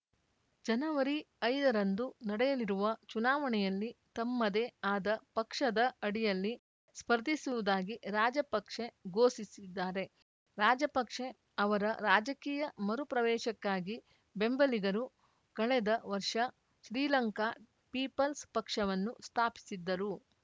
ಜನವರಿಐದರಂದು ನಡೆಯಲಿರುವ ಚುನಾವಣೆಯಲ್ಲಿ ತಮ್ಮದೇ ಆದ ಪಕ್ಷದ ಅಡಿಯಲ್ಲಿ ಸ್ಪರ್ಧಿಸುವುದಾಗಿ ರಾಜಪಕ್ಷೆ ಘೋಷಿಸಿದ್ದಾರೆ ರಾಜಪಕ್ಷೆ ಅವರ ರಾಜಕೀಯ ಮರುಪ್ರವೇಶಕ್ಕಾಗಿ ಬೆಂಬಲಿಗರು ಕಳೆದ ವರ್ಷ ಶ್ರೀಲಂಕಾ ಪೀಪಲ್ಸ್‌ ಪಕ್ಷವನ್ನು ಸ್ಥಾಪಿಸಿದ್ದರು